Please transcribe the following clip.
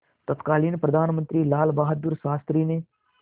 तत्कालीन प्रधानमंत्री लालबहादुर शास्त्री ने